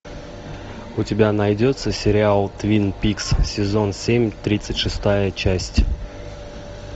у тебя найдется сериал твин пикс сезон семь тридцать шестая часть